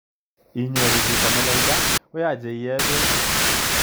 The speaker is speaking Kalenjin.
Inyoru chito melelda ko yache iee peek.